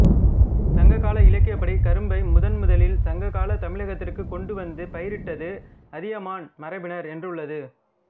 சங்க இலக்கியப்படி கரும்பை முதன் முதலில் சங்ககால தமிழகத்திற்கு கொண்டு வந்து பயிரிட்டது அதியமான் மரபினர் என்றுள்ளது